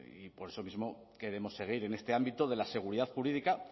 y por eso mismo queremos seguir en este ámbito de la seguridad jurídica